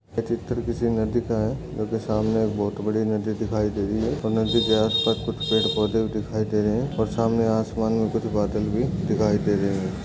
चित्र किसी नदी का है क्योंकि सामने बहुत बड़ी नदी दिखाई दे रही है नदी के आसपास कुछ पौधे दिखाई दे रहे हैं और सामने आसमान में कुछ बदल भी दिखाई दे देंगे।